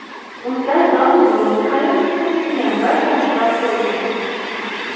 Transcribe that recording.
Unda don-dun, qalin issiq kiyim va shamchiroq bo‘lgan.